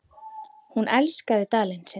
Hún elskaði Dalinn sinn.